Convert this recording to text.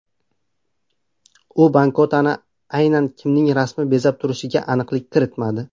U banknotani aynan kimning rasmi bezab turishiga aniqlik kiritmadi.